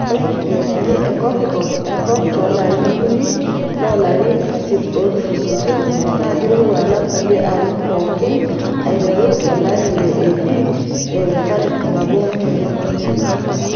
Ore nkijiepeni e kopikop enkop toolarin okuni loolarin isiet ootulusoitie naa keirowua alang kulie arin pookin aiteru AD1400.